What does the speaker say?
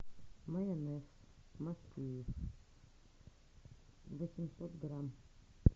майонез махеев восемьсот грамм